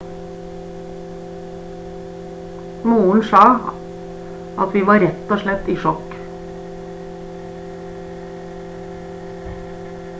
moren sa at «vi var rett og slett i sjokk»